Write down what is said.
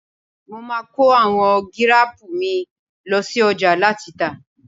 Máa kọ àwọn gírápù mi ló sí ọjà láti tà..